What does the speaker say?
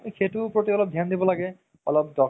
সেইটোৰ প্ৰতি অলপ ধিয়ান দিব লাগে অলপ